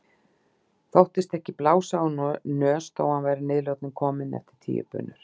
Þóttist ekki blása úr nös þó að hann væri að niðurlotum kominn eftir tíu bunur.